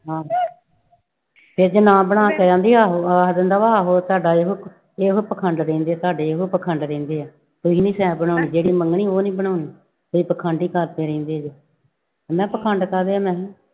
ਹਾਂ ਫਿਰ ਜੇ ਨਾ ਬਣਾ ਕਹਿੰਦੀ ਆਹੋ ਆ ਜਾਂਦਾ ਵਾ ਆਹੋ ਤੁਹਾਡਾ ਇਹੋ ਇਹੋ ਪਾਖੰਡ ਰਹਿੰਦੇ ਤੁਹਾਡੇ, ਇਹੋ ਪਾਖੰਡ ਰਹਿੰਦੇ ਆ, ਤੁਸੀਂ ਨੀ ਸੈਅ ਬਣਾਉਣੀ, ਜਿਹੜੀ ਮੰਗਣੀ ਉਹ ਨੀ ਬਣਾਉਣੀ, ਤੁਸੀਂ ਪਾਖੰਡ ਹੀ ਕਰਦੇ ਰਹਿੰਦੇ ਜੇ, ਮੈਂ ਪਾਖੰਡ ਕਾਹਦੇ ਆ ਮੈਂ ਕਿਹਾ।